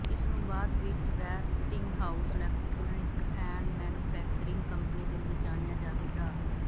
ਇਸਨੂੰ ਬਾਅਦ ਵਿੱਚ Westinghouse electric and manufacturing company ਦੇ ਰੂਪ ਵਿੱਚ ਜਾਣਿਆ ਜਾਵੇਗਾ